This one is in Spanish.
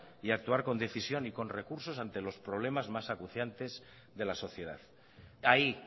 y actuar con decisión y con recursos ante los problemas más aguzantes de la sociedad ahí